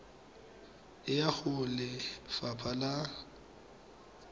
e ya go lefapha la